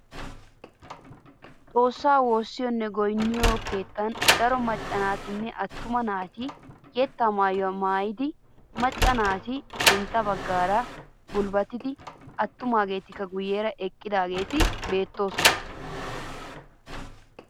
Xoossaa wossiyoonne goynniyoo keettan daro maccanne attuma naati yeettaa maayuwaa maayidi macca naati sintta baggaara gulbatin attumaageti guyeera eqqidaageti beettoosona.